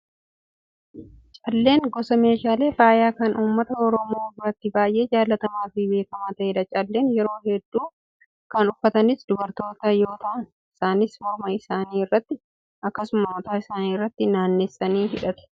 Calleen gosa meeshaalee faayaa kan uummata oromoo biratti baay'ee jaallatamaa fi beekamaa ta'edha. Calleen yeroo hedduu kan uffatanis dubartoota yoo ta'an isaanis morma isaanii irratti akkasumas mataa irratti naannessanii hidhatu.